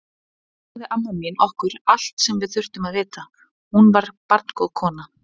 Annars sagði amma mín okkur allt sem við þurftum að vita, hún var barngóð kona.